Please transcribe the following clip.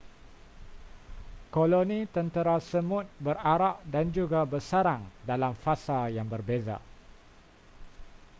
koloni tentera semut berarak dan juga bersarang dalam fasa yang berbeza